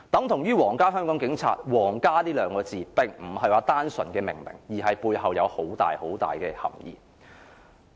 同樣地，香港皇家警察，"皇家"二字並不是單純的命名，而是背後有很大的含義。